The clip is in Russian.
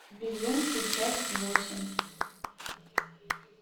безумцы часть восемь